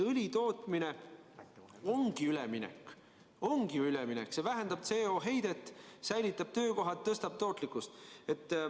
Õlitootmine ongi ju üleminek, see vähendab CO2 heidet, säilitab töökohad, tõstab tootlikkust.